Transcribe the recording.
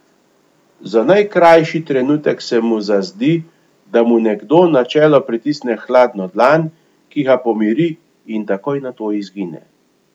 Za najkrajši trenutek se mu zazdi, da mu nekdo na čelo pritisne hladno dlan, ki ga pomiri in takoj nato izgine.